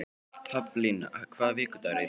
Haflína, hvaða vikudagur er í dag?